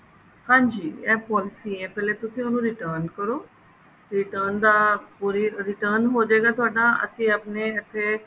ਹਾਂਜੀ ਇਹ policy ਹੈ ਪਹਿਲੇ ਤੁਸੀਂ ਉਹਨੂੰ return ਕਰੋ return ਦਾ ਪੂਰੀ return ਹੋਜੇਗਾ ਤੁਹਾਡਾ ਅਸੀਂ ਆਪਣੇ ਇੱਥੇ